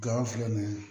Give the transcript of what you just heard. Gawfilɛ nin ye